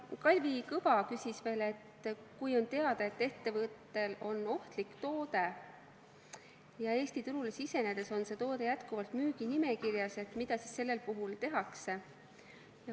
Kalvi Kõva küsis veel seda, et kui on teada, et ettevõttel on ohtlik toode, ja Eesti turule sisenedes on see toode jätkuvalt müüginimekirjas, siis mida sellisel juhul tehakse.